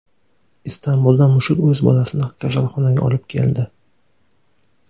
Istanbulda mushuk o‘z bolasini kasalxonaga olib keldi.